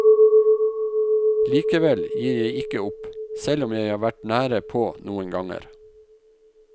Likevel, jeg gir ikke opp, selv om jeg har vært nære på noen ganger.